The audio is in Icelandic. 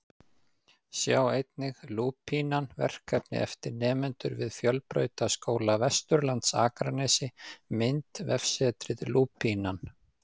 Sjá einnig: Lúpínan, verkefni eftir nemendur við Fjölbrautaskóla Vesturlands Akranesi Mynd: Vefsetrið Lúpínan